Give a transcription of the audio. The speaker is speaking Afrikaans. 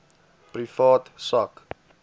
private sak